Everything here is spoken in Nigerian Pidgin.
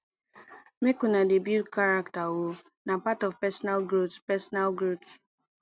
make una dey build character o na part of personal growth personal growth